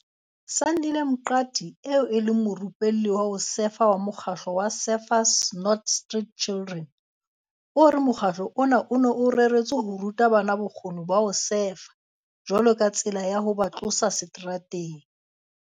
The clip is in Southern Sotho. Sandile Mqadi eo e leng morupelli wa ho sefa wa mokgatlo wa Surfers Not Street Children, o re mokgatlo ona o ne o reretswe ho ruta bana bokgoni ba ho sefa jwalo ka tsela ya ho ba tlosa seterateng.